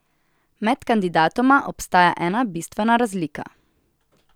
Med kandidatoma obstaja ena bistvena razlika.